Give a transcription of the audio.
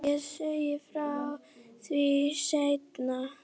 Ég segi frá því seinna.